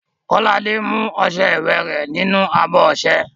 Kọ́ládé mú ọṣẹ iwẹ̀ rẹ̀ nínú abọ́ ọṣẹ.